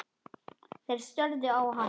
Þeir störðu á hann.